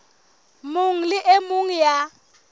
mong le e mong ya